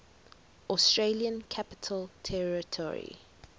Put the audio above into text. australian capital territory